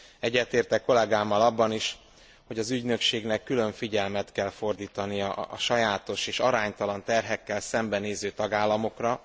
Egyetértek kollegámmal abban is, hogy az ügynökségnek külön figyelmet kell fordítania a sajátos és aránytalan terhekkel szembenéző tagállamokra.